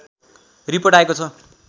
report आएको छ